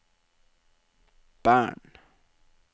Bern